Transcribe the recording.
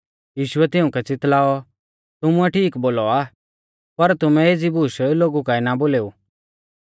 यीशुऐ तिउंकै च़ितल़ाऔ तुमुऐ ठीक बोलौ आ पर तुमै एज़ी बूश लोगु काऐ ना बोलेऊ